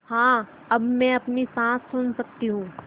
हाँ अब मैं अपनी साँस सुन सकती हूँ